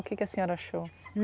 O que a senhora achou?